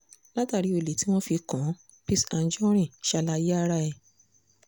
látàrí ẹ̀sùn olè tí wọ́n fi kàn án l picc anjorin ṣàlàyé ara ẹ̀